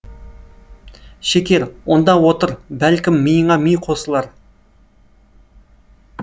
шекер онда отыр бәлкім миыңа ми қосылар